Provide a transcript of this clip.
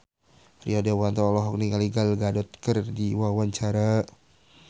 Rio Dewanto olohok ningali Gal Gadot keur diwawancara